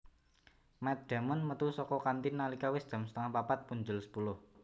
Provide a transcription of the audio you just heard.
Matt Damon metu saka kantin nalika wis jam setengah papat punjul sepuluh